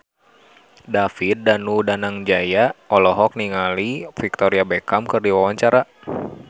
David Danu Danangjaya olohok ningali Victoria Beckham keur diwawancara